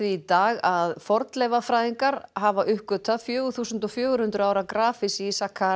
í dag að fornleifafræðingar hafa uppgötvað fjögur þúsund fjögur hundruð ára grafhýsi í